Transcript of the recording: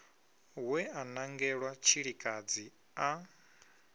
we a nangelwa tshilikadzi a